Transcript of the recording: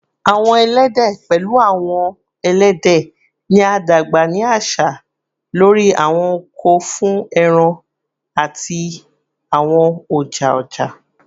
Awọn ẹlẹdẹ, pẹlu awọn ẹlẹdẹ, ni a dagba ni aṣa lori awọn oko fun ẹran ati awọn ọja-ọja